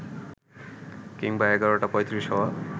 কিংবা এগারোটা পঁয়ত্রিশ হওয়া